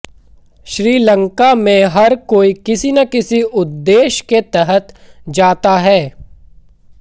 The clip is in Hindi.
श्रीलंका में हर कोई किसी न किसी उद्देश्य के तहत जाता है